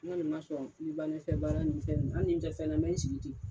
N kɔni ma sɔn n ba nɔfɛ baara ni fɛn nunnu. Hali ni n dɛsɛla n bɛ n sigi ten.